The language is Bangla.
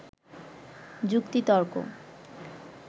যুক্তিতর্ক